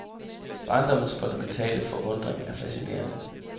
Barndommens fundamentale forundring er fascinerende.